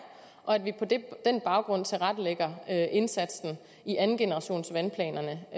og at vi på den baggrund tilrettelægger indsatsen i andengenerationsvandplanerne